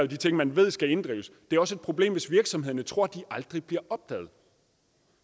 de ting man ved skal inddrives det er også et problem hvis virksomhederne tror at de aldrig bliver opdaget